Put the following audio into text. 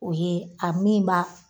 O ye a min b'a